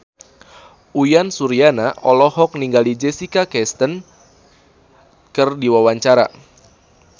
Uyan Suryana olohok ningali Jessica Chastain keur diwawancara